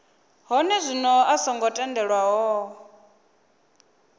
hone zwino a songo tendelwaho